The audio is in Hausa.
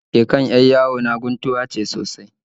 Igiyar dake kan 'yar yawo na guntuwa ce sosai